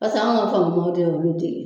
Paseke an ka olu de ye.